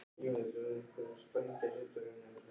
Ég þekkti hana strax á ljósu fléttunni.